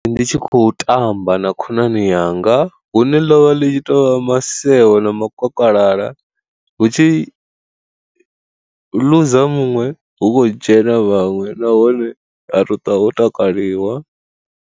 Ndi tshi khou tamba na khonani yanga hune ḽovha ḽi tshi tou maseo na makokalala hu tshi luza muṅwe hu khou dzhena vhaṅwe nahone ha to ṱuwa ho takaliwa.